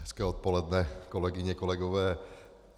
Hezké odpoledne, kolegyně, kolegové.